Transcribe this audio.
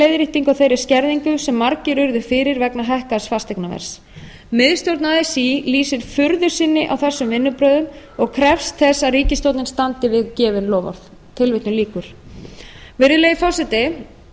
á þeirri skerðingu sem margir urðu fyrir vegna hækkaðs fasteignaverðs miðstjórn así lýsir furðu sinni á þessum vinnubrögðum og krefst þess að ríkisstjórnin standi við gefin loforð virðulegi forseti